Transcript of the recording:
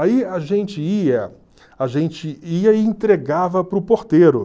Aí a gente ia a gente ia e entregava para o porteiro.